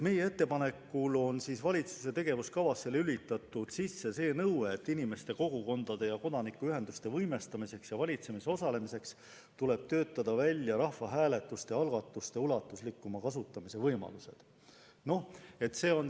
Meie ettepanekul on valitsuse tegevuskavasse pandud sisse nõue, et inimeste, kogukondade ja kodanikuühenduste võimestamiseks ja valitsemises osalemiseks tuleb töötada välja rahvahääletuste algatuste ulatuslikuma kasutamise võimalused.